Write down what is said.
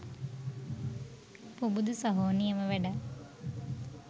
පුබුදු සහෝ නියම වැඩක්.